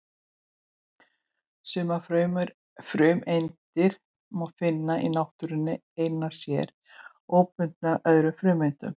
Sumar frumeindir má finna í náttúrunni einar sér, óbundnar öðrum frumeindum.